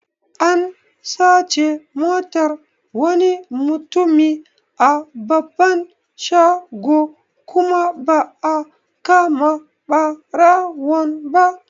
An sace Motar wani mutumi a babban shago kuma ba'a kama ɓarawon ba